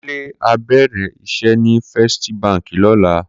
Kunle á bèrè iṣè ni Fèstí bànkí lòlá